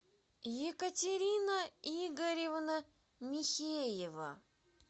екатерина игоревна михеева